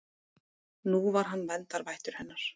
Nú var hann verndarvættur hennar.